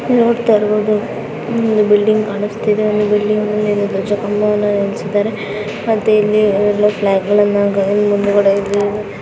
ನೋಡತ್ತಾ ಇರಬಹುದು ಒಂದು ಬಿಲ್ಡಿಂಗ್ ಕಾಣಸ್ತಿದೆ ಬಿಲ್ಡಿಂಗ ಲ್ಲಿ ದ್ವಜ ಕಂಬವನ್ನ ನಿಲ್ಲಿಸಿದ್ದಾರೆ ಮತ್ತೆ ಇಲ್ಲಿ .